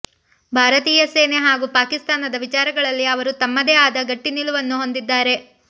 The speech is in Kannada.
ಭಾರತೀಯ ಸೇನೆ ಹಾಗೂ ಪಾಕಿಸ್ತಾನದ ವಿಚಾರಗಳಲ್ಲಿ ಅವರು ತಮ್ಮದೇ ಆದ ಗಟ್ಟಿ ನಿಲುವನ್ನು ಹೊಂದಿದ್ದಾರೆ